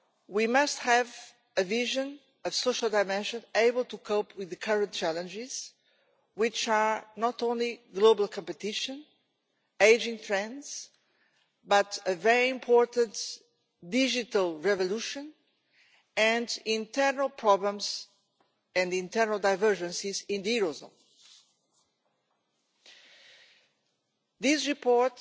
We must have a vision of a social dimension able to cope with the current challenges, which are not only global competition and ageing trends, but also a very important digital revolution, and internal problems and internal divergences in the eurozone. This report